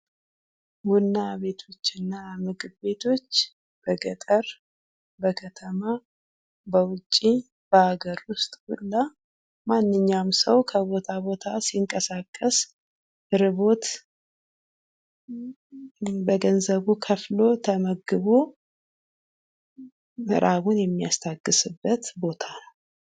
ቡና ቤቶችና ምግብ ቤቶች በገጠር ፥በከተማ፥ በውጪ፥ በሀገር ውስጥ ሁላ ማንኛውም ሰው ከቦታው ቦታ ሲንቀሳቀሰ ርቦት በገንዘቡ ከፍሎ ተመግቦ ረሀቡን የሚያስታግስበት ቦታ ነው።